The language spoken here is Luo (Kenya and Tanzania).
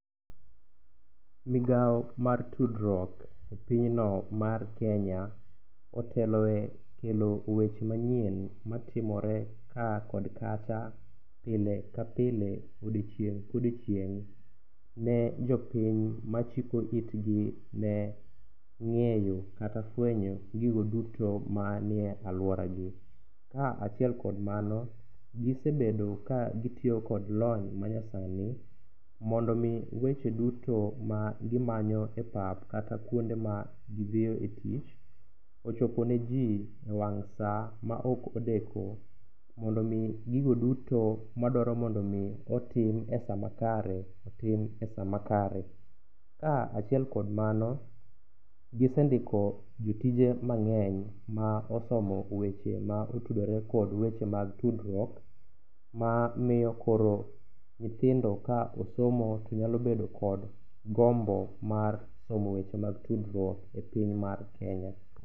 Migao mar tudruok e pinyno mar Kenya oteloe kelo weche manyien matimore ka kod kacha, pile ka pile, odiechieng' ka odiechieng', ne jopiny ma chiko itgi ne ng'eyo, kata fwenyo gigo duto manie alwora gi. Ka achiel kod mano, gisebedo ka gitiyo kod lony manyasani, mondo omi weche duto ma gimanyo e pap kata kuonde ma gidhiyo e tich, ochopo ne ji e wang' sa ma ok odeko. Mondo omi gigo duto ma dwaro mondo otim e sa makare, tim e sa makare. Ka achiel kod mano, gisendiko jotije mang'enyeny ma osomo weche ma otudore kod weche mag tudruok, ma miyo koro nyithindo ka osomo to nyalo bedo kod gombo mar somo weche mag tudruok e piny mar Kenya.